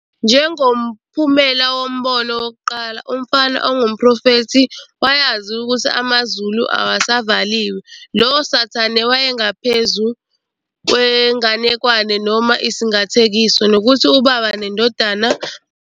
Njengomphumela woMbono Wokuqala, umfana ongumprofethi wayazi ukuthi amazulu awasavaliwe, lowo sathane wayengaphezu kwenganekwane noma isingathekiso, nokuthi uBaba neNdodana babengabantu abahlukene nabahlukile.